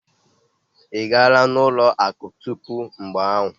Ị gara ụlọ akụ tupu mgbe ahụ?